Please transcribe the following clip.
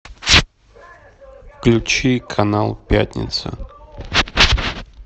включи канал пятница